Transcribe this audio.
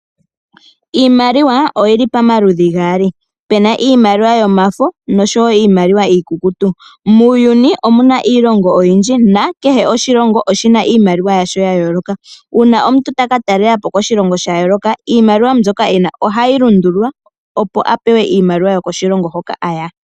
Iimaliwa oyi li pamaludhi gaali, puna iimaliwa yomafo nosho wo iimaliwa iikukutu. Muuyuni omu na iilongo oyindji, nakehe oshilongo oshi na iimaliwa yasho ya yooloka. Uuna omuntu ta ka talela po koshilongo sha yooloka, iimaliwa mbyoka e na ohayi lundululwa opo a pe we iimaliwa yokoshilongo hoka a ya.